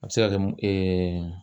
A bɛ se ka kɛ mun